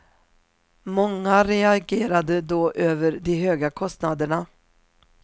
Många reagerade då över de höga kostnaderna.